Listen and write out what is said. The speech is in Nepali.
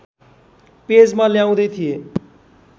पेजमा ल्याउँदै थिएँ